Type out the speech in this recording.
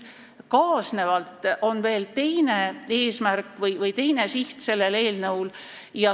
Kaasnevalt on sellel eelnõul veel teine eesmärk või siht.